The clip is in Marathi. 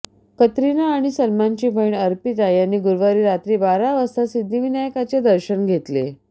कतरिना आणि सलमानची बहीण अर्पिता यांनी गुरुवारी रात्री बारा वाजता सिद्धीविनायकाचे दर्शन घेतले